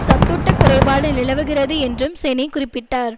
சத்தூட்டக்குறைபாடு நிலவுகிறது என்றும் செனி குறிப்பிட்டார்